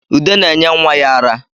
Ude na-enye nwa ya ara